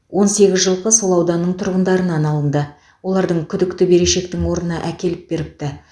он сегіз жылқы сол ауданның тұрғындарынан алынды олардың күдікті берешектің орнына әкеліп беріпті